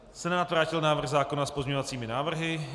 Senát vrátil návrh zákona s pozměňovacími návrhy.